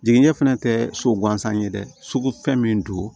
Jiginikɛ fɛnɛ tɛ so gansan ye dɛ sugu fɛn min don